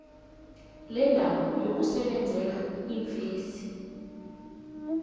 lendawo yokusebenzela iimfesi